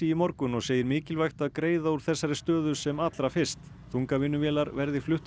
í morgun og segir mikilvægt að greiða úr þessari stöðu sem allra fyrst þungavinnuvélar verði fluttar